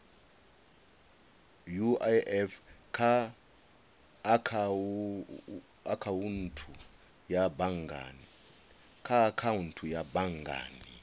uif kha akhaunthu ya banngani